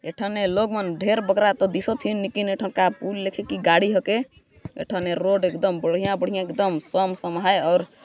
ऐथाने लोग मन ढेर बगरा तो दिखत हीन लेकिन ऐथन का पूल एखर के गाड़ी होके ऐथाने रोड एक दम बढ़िया-बढ़िया एक दम सम समाये और--